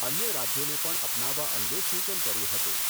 અન્ય રાજ્યોને પણ અપનાવવા અંગે સુચન કર્યું હતું.